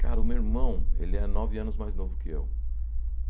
Cara, o meu irmão, ele é nove anos mais novo que eu.